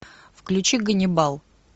включи ганнибал